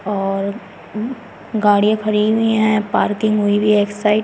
और गाड़ियां खड़ी हुई हैं पार्किंग हुई हुई है एक साइड --